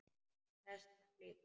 Þess þarf líka.